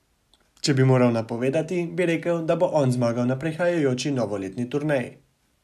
Če bi moral napovedovati, bi rekel, da bo on zmagal na prihajajoči novoletni turneji.